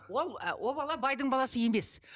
ол о бала байдың баласы емес